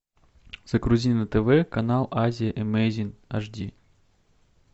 загрузи на тв канал азия эмейзин аш ди